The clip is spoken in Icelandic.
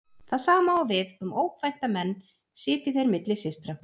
Það sama á við um ókvænta menn sitji þeir milli systra.